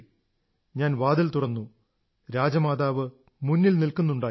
ഞാൻ വാതിൽ തുറന്നു രാജമാതാവ് മുന്നിൽ നിൽക്കുന്നുണ്ടായിരുന്നു